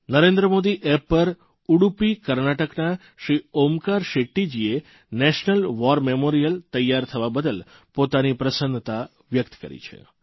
Narendra Modi app પર ઉડુપી કર્ણાટકના શ્રી ઓમકાર શેટ્ટીજીએ નેશનલ વોર મેમોરીયલરાષ્ટ્રીય યુદ્ધ સ્મૃતિસ્થાન તૈયાર થવા બદલ પોતાની પ્રસન્નતા વ્યકત કરી છે